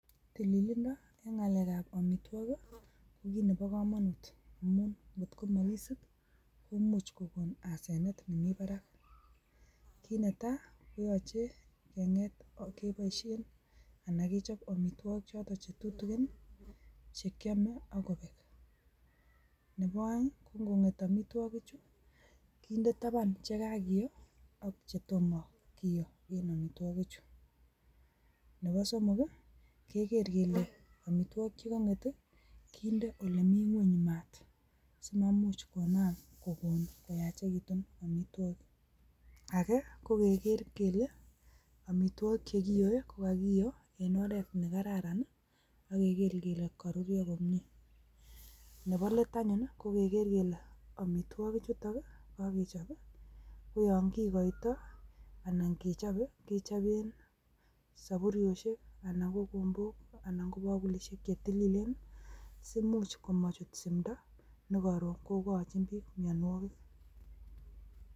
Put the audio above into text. Tililindo en ngalekab amitwogiik ko kit neboo komonut, amun kot ko mokisiib koimuch kenyoor asenet nemii barak. Kit Netaji koyoche keboishien anan kechob amitwogikchotok che tutikin chekiome ako beek. Ko ingonget amitwogikchu kinde tabaan che kakiyoo ak chetomo kiyoo en amitwogichu. Nebo somok I,igeer kele amitwogiik che konget I,kinder olemi ngwony maat simamuch konaam koyaachekitun amitwoogiik. Age ko kegeer kele amitwogik chekiyoe kokakiyoo en oret nekararan ak kegeer kele koruryoo komie. Nebo let anyun kogeger kele amitwogikchutok kakechob i,koyon kigoitooi anan kechobee kechoben sopuriesiek anan ko kibogulisiek anan ko kombok Che tilileen simuch komochut simdoo nekoroon kokochin biik mionwogiik.